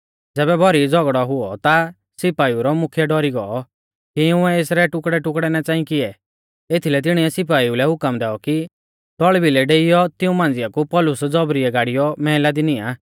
ज़ैबै भौरी झ़ौगड़ौ हुऔ ता सिपाइऊ रौ मुख्यै डौरी गौ कि इउंऐ एसरै टुकड़ैटुकड़ै ना च़ांई किऐ एथीलै तिणीऐ सिपाइऊ लै हुकम दैऔ कि तौल़ भिलै डेइयौ तिऊं मांझ़िया कु पौलुस ज़ौबरीयै गाड़ीयौ मैहला दी नियां